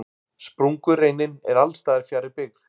Sprungureinin er alls staðar fjarri byggð.